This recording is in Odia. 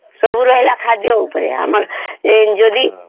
ସବୁ ରହିଲା ଖାଦ୍ୟ ଉପରେ Injury